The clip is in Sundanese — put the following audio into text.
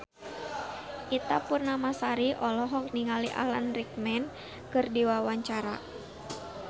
Ita Purnamasari olohok ningali Alan Rickman keur diwawancara